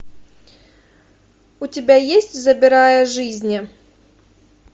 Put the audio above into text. у тебя есть забирая жизни